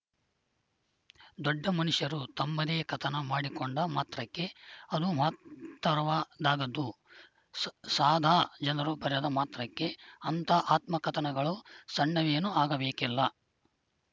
ದೊಡ್ಡ ಮನುಷ್ಯರು ತಮ್ಮದೇ ಕಥನ ಮಾಡಿಕೊಂಡ ಮಾತ್ರಕ್ಕೆ ಅದು ಮಹತ್ತರವದ್ದಾಗದು ಸಾದಾ ಜನರು ಬರೆದ ಮಾತ್ರಕ್ಕೆ ಅಂಥ ಆತ್ಮಕಥನಗಳು ಸಣ್ಣವೇನೂ ಆಗಬೇಕಿಲ್ಲ